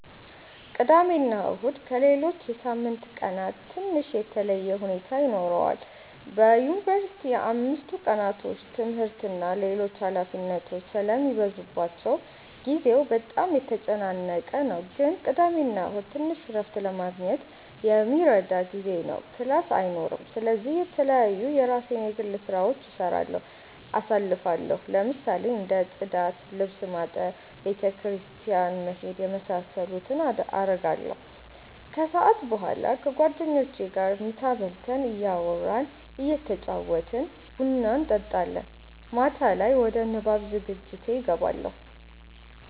ቅዳሜና እሁድ ከሌሎች የሳምንት ቀናት ትንሽ የተለየ ሁኔታ ይኖረዋል በዩንቨርሲቲ አምስቱ ቀናቶች ትምህርት እና ሌሎች ኃላፊነቶች ስለሚበዙባቸው ጊዜው በጣም የተጨናነቀ ነው ግን ቅዳሜና እሁድ ትንሽ እረፍት ለማግኘት የሚረዳ ጊዜ ነው ክላስ አይኖርም ስለዚህ የተለያዩ የራሴን የግል ስራዎች እየሰራሁ አሳልፋለሁ ለምሳሌ እንደ ፅዳት፣ ልብስ ማጠብ፣ ቤተ ክርስቲያን መሄድ የመሳሰሉትን አረጋለሁ። ከሰዓት በኋላ ከጓደኞቼ ጋር ምሳ በልተን እያወራን እየተጫወትን ቡና እንጠጣለን። ማታ ላይ ወደ ንባብ ዝግጅቴ እገባለሁ።